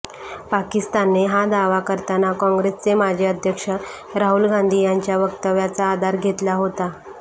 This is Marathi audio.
पाकिस्तानने हा दावा करताना काँग्रेसचे माजी अध्यक्ष राहुल गांधी यांच्या वक्तव्याचा आधार घेतला होता